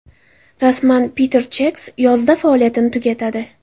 Rasman: Peter Chex yozda faoliyatini tugatadi.